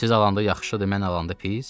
Siz alanda yaxşıdır, mən alanda pis?